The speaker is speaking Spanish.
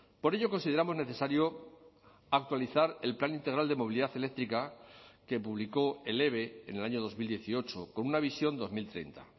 por ello consideramos necesario actualizar el plan integral de movilidad eléctrica que publicó el eve en el año dos mil dieciocho con una visión dos mil treinta